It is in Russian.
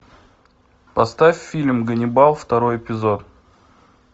поставь фильм ганнибал второй эпизод